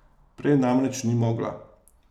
Prej namreč ni mogla.